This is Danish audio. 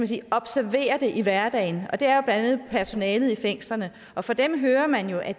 sige observerer det i hverdagen og det er jo andet personalet i fængslerne fra dem hører man jo at